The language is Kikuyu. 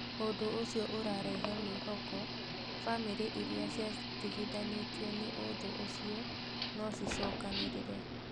ũndũ ũcio urarehe mwĩhoko bamĩrĩ iria ciatigithanĩtio nĩ ũthũ ũcio no cicokanĩrĩre.